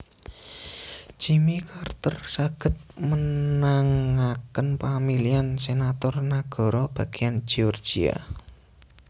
Jimmy Carter saged menangaken pamilihan senator nagara bagian georgia